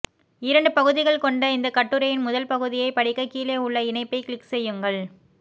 இரண்டு பகுதிகள் கொண்ட இந்தக் கட்டுரையின் முதல் பகுதியைப் படிக்க கீழே உள்ள இணைப்பை க்ளிக் செய்யுங்கள்